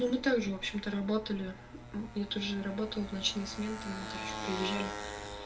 ну мы также в общем-то работали и эту же работу в ночные смены там мы короче приезжали